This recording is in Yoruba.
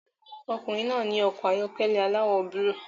Ọkùnrin náà ní ọkọ̀ ayọ́kẹ́lẹ́ aláwọ̀ búlúù